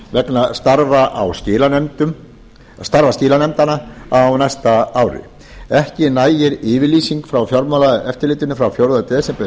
vegna starfa skilanefndanna á næsta ári ekki nægir yfirlýsing frá fjármálaeftirlitinu frá fjórða desember